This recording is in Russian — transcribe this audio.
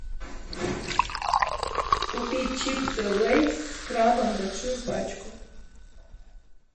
купить чипсы лейс с крабом большую пачку